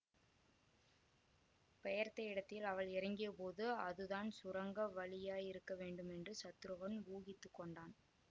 பெயர்த்த இடத்தில் அவள் இறங்கியபோது அதுதான் சுரங்க வழியாயிருக்க வேண்டும் என்று சத்ருகன் ஊகித்து கொண்டான்